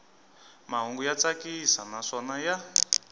mahungu ya tsakisa naswona ya